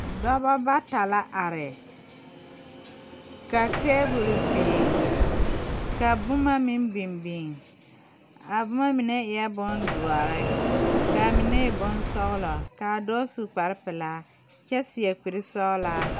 Nasalba la a be die poɔŋ a zɔɔrɔ taa ka bamine su kpare bɛrɛ kaa kaŋa de o nu a kyeɛrɛ ne o tɔsɔbɔ zu ka bamine ziŋ a ne karitaare kyɛ meŋ kaara a zɔɔre.